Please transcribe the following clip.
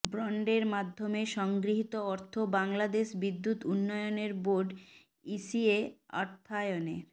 বন্ডের মাধ্যমে সংগৃহীত অর্থ বাংলাদেশ বিদ্যুৎ উন্নয়ন বোর্ড ইসিএ অর্থায়নের